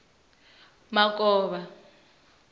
makovha